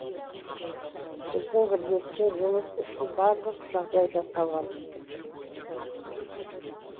біздің бірлескен жұмыс үшін барлық жағдай жасалған